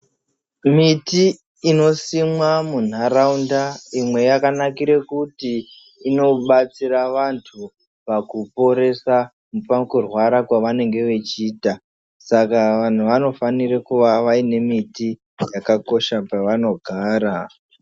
Miti inosimwa mundaraunda imwe yakanakira kuti inobatsira vantu pakuporesa nepakurwara pavanenge vechiita Saka Vanhu vanofanira kunge vaine miti yakakosha pavanogara.